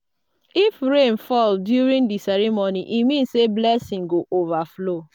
if rain fall during di ceremony e mean say blessings go overflow.